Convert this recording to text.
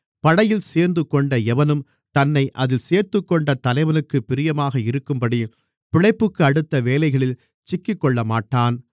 படையில் சேர்ந்துகொண்ட எவனும் தன்னை அதில் சேர்த்துக்கொண்ட தலைவனுக்குப் பிரியமாக இருக்கும்படி பிழைப்புக்கடுத்த வேலைகளில் சிக்கிக்கொள்ளமாட்டான்